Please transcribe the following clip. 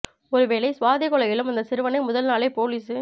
ஒரு வேளை சுவாதி கொலையிலும் அந்த சிறுவனை முதல் நாளே போலீசு